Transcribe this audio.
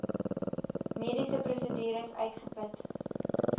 mediese prosedures uitgeput